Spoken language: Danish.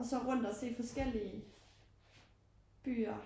Og så rundt og se forskellige byer